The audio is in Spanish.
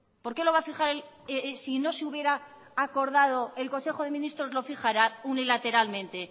por qué lo va a fijar si no se hubiera acordado el consejo de ministros lo fijará unilateralmente